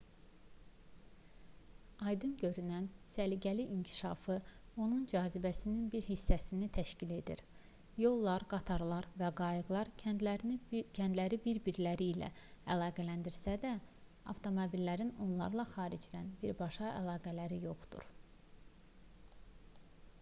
aydın görünən səliqəli inkişafı onun cazibəsinin bir hissəsini təşkil edir yollar qatarlar və qayıqlar kəndləri bir-birləri ilə əlaqələndirsə də avtomobillərin onlarla xaricdən birbaşa əlaqələri yoxdur